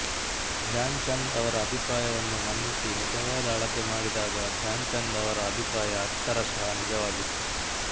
ಧ್ಯಾನ್ ಚಂದ್ ಅವರ ಅಭಿಪ್ರಾಯವನ್ನು ಮನ್ನಿಸಿ ನಿಜವಾದ ಅಳತೆ ಮಾಡಿದಾಗ ಧ್ಯಾನ್ ಚಂದ್ ಅವರ ಅಭಿಪ್ರಾಯ ಅಕ್ಷರಷಃ ನಿಜವಾಗಿತ್ತು